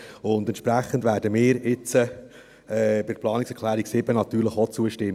Entsprechend werden wir jetzt der Planungserklärung 7 natürlich auch zustimmen.